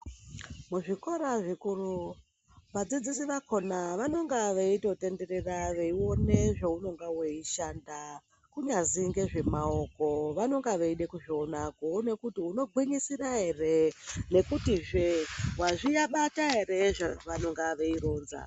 Muzvikora zvikuru vadzidzisi vakona vanonga veitotenderera veione zvounonga weishanda kunyazi ngezvemaoko, vanonga veida kuzviona kuona kuti unogwinyisira here, nekutizve wazvibata here zvavanonga veironza.